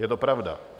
Je to pravda.